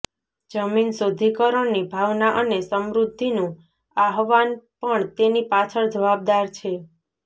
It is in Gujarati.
જમીન શુદ્ધિકરણની ભાવના અને સમૃદ્ધિનું આહવાન પણ તેની પાછળ જવાબદાર છે